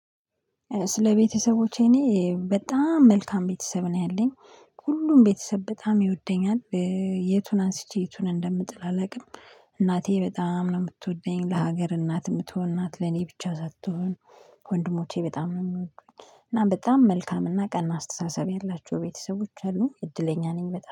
ስለ ቤተሰቦቼ እኔ በጣም መልካም ቤተሰብ ነው ያለኝ ሁሉም ቤተሰብ በጣም ይወደኛል። የቱን አንስቼ የቱን እንደምጥል አላውቅም። እናቴ በጣም ነው የምትወደኝ ለሀገር እናት የምትሆን እናት ለኔ ብቻ ሳትሆን። ወንድሞቼ በጣም ነው የምወዱኝ እና በጣም መልካም እና ቀና አስተሳሰብ ያላቸው ቤተሰቦች አሉኝ እድለኛ ነኝ። በጣም